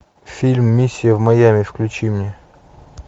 фильм миссия в майами включи мне